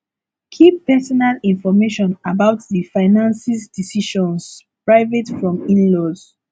keep personal information about di finances decisions private from inlaws